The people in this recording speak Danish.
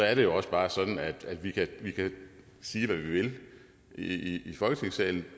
er det jo også bare sådan at vi kan sige hvad vi vil i folketingssalen